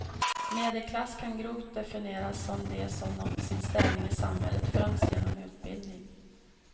Medelklass kan grovt definieras som de som nått sin ställning i samhället främst genom utbildning.